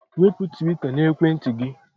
Wepụ twita n'ekwentị gị!